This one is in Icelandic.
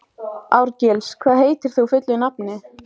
Árgils, hvað heitir þú fullu nafni?